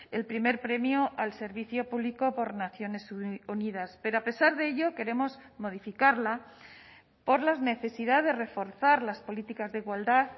el primer premio al servicio público por naciones unidas pero a pesar de ello queremos modificarla por la necesidad de reforzar las políticas de igualdad